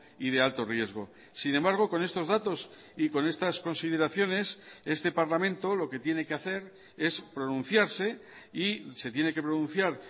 y de alto riesgo sin embargo con estos datos y con estas consideraciones este parlamento lo que tiene que hacer es pronunciarse y se tiene que pronunciar